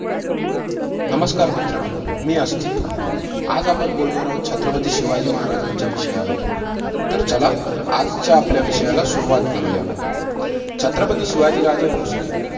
नमस्कार! मित्रांनो मी अस्तित्व, आज आपण बोलणार आहोत छत्रपती शिवाजी महाराजांच्या विषयावर. तर चला आजच्या आपल्या विषयाला सुरुवात करूया, छत्रपती शिवाजी राजे भोसले